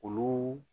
Olu